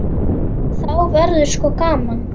Þá verður sko gaman.